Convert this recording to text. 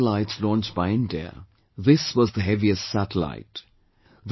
And of all the satellites launched by India, this was the heaviest satellite